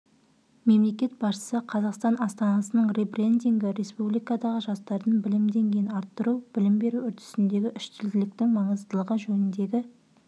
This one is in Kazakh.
мемлекет басшысы қазақстан астанасының ребрендингі республикадағы жастардың білім деңгейін арттыру білім беру үрдісіндегі үштілділіктің маңыздылығы жөніндегі